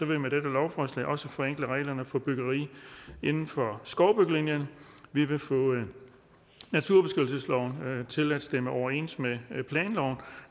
vi med dette lovforslag også forenkle reglerne for byggeri inden for skovbyggelinjen vi vil få naturbeskyttelsesloven til at stemme overens med planloven